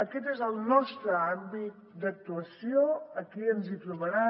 aquest és el nostre àmbit d’actuació aquí ens trobaran